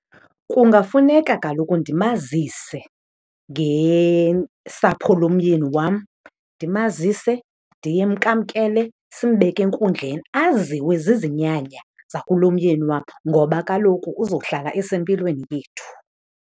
Kungafuneka kaloku ndimazise ngesapho lomyeni wam, ndimazise, ndimamkele simbeke enkundleni aziwe zizinyanya zakulomyeni wam ngoba kaloku uzohlala esempilweni yethu.